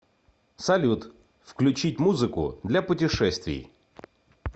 салют включить музыку для путешествий